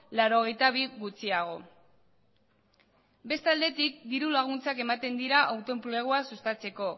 laurogeita bi gutxiago beste aldetik diru laguntzak ematen dira autoenplegua sustatzeko